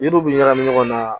N'iw bi ɲagami ɲɔgɔn na